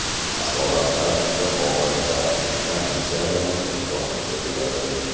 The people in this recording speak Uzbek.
Asoratlar juda og‘ir va tiklanish jarayoni uzoqqa cho‘ziladi.